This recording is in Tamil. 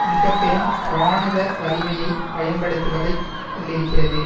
மிக பெரும் இராணுவ வலிமையை பயன்படுத்துவதைக் கொண்டிருக்கிறது